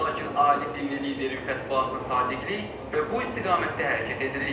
Lakin ali dini liderin fətvasına sadiqik və bu istiqamətdə hərəkət edirik.